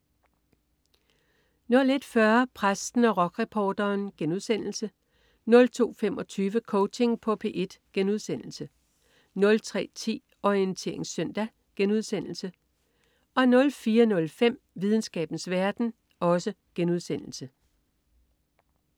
01.40 Præsten og rockreporteren* 02.25 Coaching på P1* 03.10 Orientering søndag* 04.05 Videnskabens verden*